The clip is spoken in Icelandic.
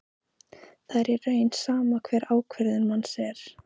Það er í raun sama hver ákvörðun manns er.